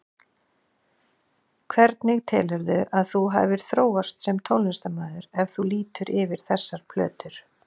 Hvernig telurðu að þú hafir þróast sem tónlistarmaður, ef þú lítur yfir þessar plötur?